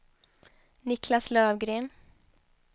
Niclas Lövgren